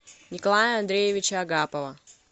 николая андреевича агапова